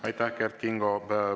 Aitäh, Kert Kingo!